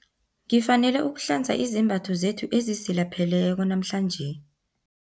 Ngifanele ukuhlanza izembatho zethu ezisilapheleko namhlanje.